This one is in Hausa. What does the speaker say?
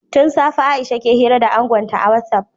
Tun safe Aisha ke hira da angonsa a Whotsupi